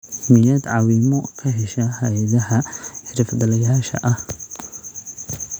Miyaad caawimo ka heshaa hay'adaha xirfadlayaasha ah?